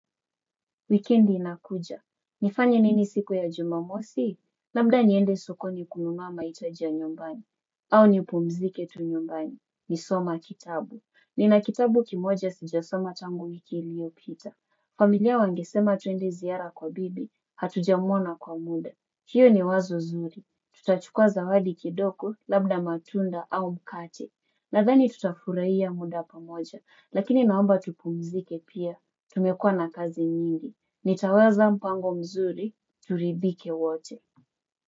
Wikendi inakuja. Nifanye nini siku ya jumamosi? Labda niende sokoni kununua mahitaji ya nyumbani. Au nipumzike tu nyumbani. Nisoma kitabu. Nina kitabu kimoja sijasoma tangu wiki iliyopita. Familia wangesema tuende ziara kwa bibi. Hatujamuona kwa muda. Hiyo ni wazo zuri. Tutachukua zawadi kidogo labda matunda au mkate. Nadhani tutafurahia muda pamoja. Lakini naomba tupumzike pia. Tumekuwa na kazi nyingi. Nitaweza mpango mzuri. Turidhike wote.